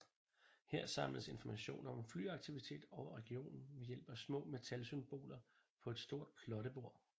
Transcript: Her samledes informationer om flyaktivitet over regionen ved hjælp af små metalsymboler på et stort plottebord